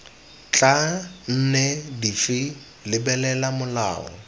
tla nne dife lebelela molao